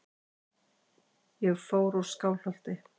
Ég fór úr Skálholti.